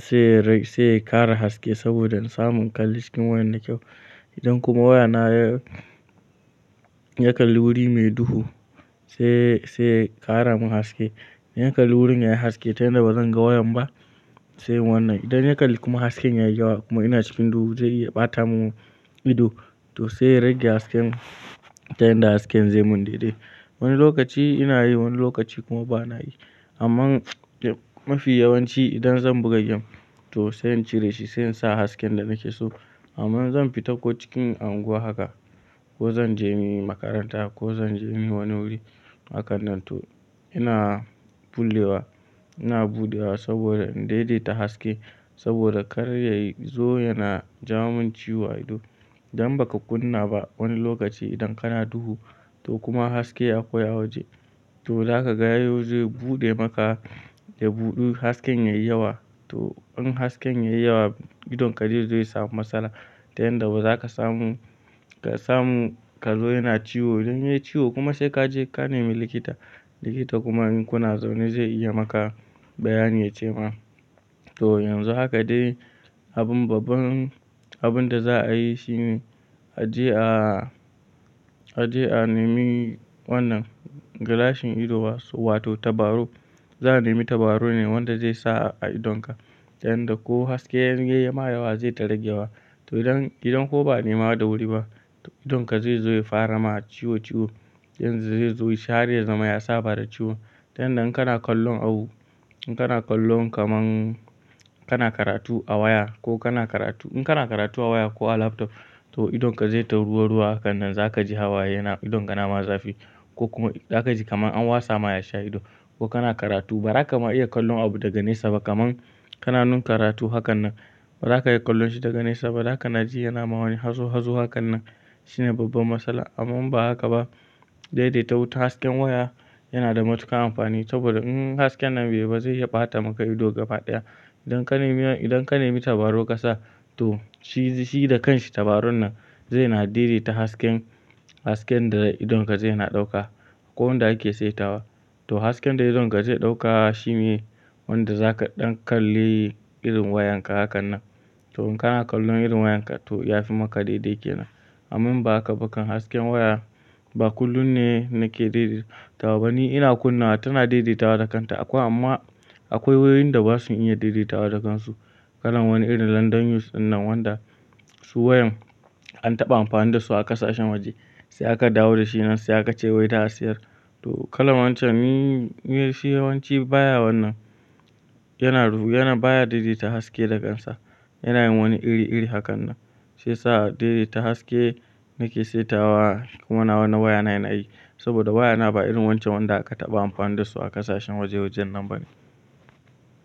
sai ya sai ya kara haske saboda in samu in kalli scrin wayan da kyau. Idan kuma waya na ya yakalli wuri mai duhu sai sai ya ƙara mun haske. In ya kalli wurin yayi haske ta yanda bazan ga wayan ba sai wannan. Idan ya kalli kuma hasken yayi yawa kuma ina cikin duhu zai iya ɓata mun ido to sai in rage hasken ta yanda hasken zai mun daidai. Wani lokaci ina yi wani lokaci kuma bana yi. Amma mafi yawanci idan zan buga gem to sai in cire shi sai in sa hasken da nake so. Amma in zan fita ko cikin unguwa haka ko zan je ni makaranta ko zan je ma wani guri hakan nan to ina kullewa ina buɗewa saboda na daidaita haske saboda kar yayi zo yana jawo min ciwo a ido. Idan baka kunna ba wani lokaci idan kana duhu toh kuma haske ya koya waje toh za ka ga yanzu zai buɗe maka da buɗu hasken yayi yawa. Toh in hasken yayi yawa idonka zai zo ya samu matsala ta yanda bazaka samu samu kazo yana ciwo idan yayi ciwo kuma sai kaje ka nemi likita. Likita kuma in kuna zaune zai iya maka bayani ya ce ma. Toh yanzu haka dai abun babban abun da za a yi shine a je a a je a nemi wannan gilashin ido wato tabarau. Za a nemi tabarau ne wanda zai sa a idonka ta yanda ko haske in yayi ma yawa zai ta rage wa. To idan idan kuma ba ne ma da wuri ba idonka zai zai fara ma ciwo ciwo yanda zai zo shi har ya zama ya saba da ciwon. Ta yanda in kana kallon abu in kana kallon kaman kana karatu a waya ko kana karatu in kana karatu a waya ko a laptop to idon ka zai ta ruwa ruwa hakan nan zaka ji hawaye yana idonka na ma zafi ko kuma za ka ji kaman an wasa ma yashi a ido ko kana karatu ba zaka ma iya kallon abu daga nesa ba kaman kana nun karatu hakan nan ba zaka iya kallon shi daga nesa ba zaka na ji yana ma wani hazo hazo hakan nan shine babban matsala. Amma in ba haka ba, daidaita wutan hasken waya yana da matuƙar amfani saboda in hasken nan bai yi ba zai iya ɓata maka ido gabaɗaya. Idan ka nemi idan ka nemi tabarau kasa to shi shi da kanshi tabaron nan zai na daidaita hasken hasken da idonka zai na ɗauka ko wanda ake saitawa. To hasken da idonka zai ɗauka shi ne wanda zaka ɗan kalli irin wayanka hakan nan. Toh in kana kallon irin wayanka to ya fi maka daidai kenan. Amma in ba haka ba kan hasken waya ba kullum ne nake daidaitawa ba ni ina kunna wa tana daidaitawa da kanta akwai amma akwai wayoyin da basu iya daidaitawa da kansu. Kalan wani irin London use ɗinnan wanda su wayan an taɓa amfani da su a ƙasashen waje sai aka dawo da shi nan sai aka ce wai za'a siyar. To kalan wancan ni ni shi yawanci baya wannan yana yana baya daidaita haske da kansa yana yin wani iri iri hakan nan. Shi yasa daidaita haske nake saitawa kuma na wa na waya na yana aiki saboda waya na ba irin wancan wanda aka taɓa amfani da su a ƙasashen waje wajen nan ba ne.